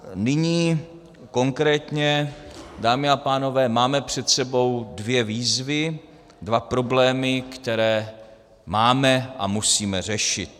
Nyní konkrétně, dámy a pánové, máme před sebou dvě výzvy, dva problémy, které máme a musíme řešit.